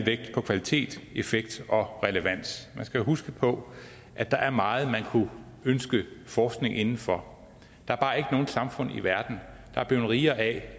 kvalitet effekt og relevans man skal huske på at der er meget man kunne ønske forskning inden for der er nogen samfund i verden der er blevet rigere af